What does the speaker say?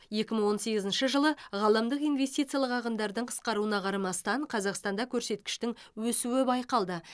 екі мың он сегізінші жылы ғаламдық инвестициялық ағындардың қысқаруына қарамастан қазақстанда көрсеткіштің өсуі байқалды